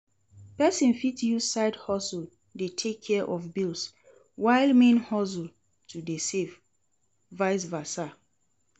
Persin fit use side hustle de take care of bills while main hustle to de save vice versa